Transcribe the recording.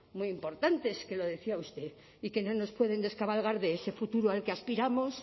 muy importantes que lo decía usted y que no nos pueden descabalgar de ese futuro al que aspiramos